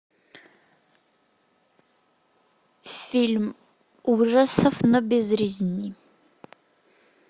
фильм ужасов но без резни